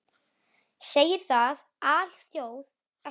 Segir það alþjóð ekki neitt?